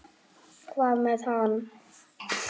Hvað með hana?